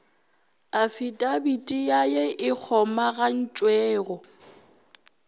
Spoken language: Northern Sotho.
afidabiti ya ye e kgomagantšwego